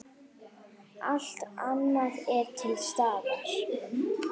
Allt annað er til staðar.